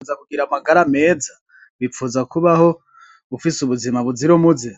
Wipfuza kugira amagara meza, wipfuza kubaho ufise ubuzima buzira umuze,